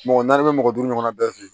Mɔgɔ naani bɛ mɔgɔ duuru ɲɔgɔn bɛɛ fe yen